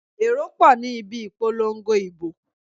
Èrò pọ̀ ní ibi ìpolongo ìbò.